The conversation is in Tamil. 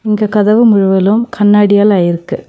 இங்க கதவு முழுவலும் கண்ணாடியால ஆயிருக்கு.